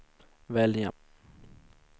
välja